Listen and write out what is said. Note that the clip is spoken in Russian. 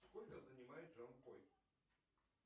сколько занимает джанкой